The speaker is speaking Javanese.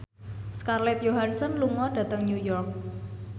Scarlett Johansson lunga dhateng New York